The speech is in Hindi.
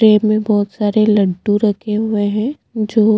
तेली पे बहुत लड्डू रखे है जो--